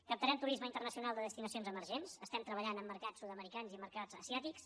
captarem turisme internacional de destinacions emergents estem treballant amb mercats sud americans i amb mercats asiàtics